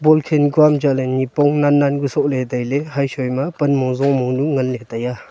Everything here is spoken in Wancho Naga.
ball khekun chatle nipong nan nan ku soley taile heisui ma panmong zonmong nu ngale taiyeh.